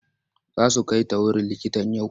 Za su kai ta wurin likitan yau?